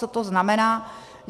Co to znamená?